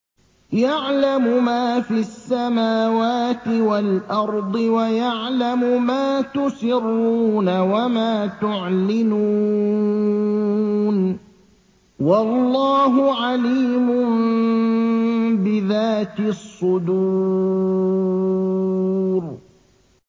يَعْلَمُ مَا فِي السَّمَاوَاتِ وَالْأَرْضِ وَيَعْلَمُ مَا تُسِرُّونَ وَمَا تُعْلِنُونَ ۚ وَاللَّهُ عَلِيمٌ بِذَاتِ الصُّدُورِ